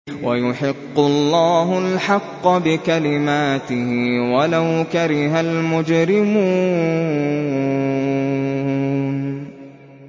وَيُحِقُّ اللَّهُ الْحَقَّ بِكَلِمَاتِهِ وَلَوْ كَرِهَ الْمُجْرِمُونَ